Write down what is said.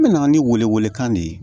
N mɛna ni wele wele kan de ye